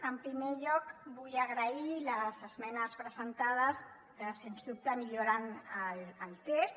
en primer lloc vull agrair les esmenes presentades que sens dubte milloren el text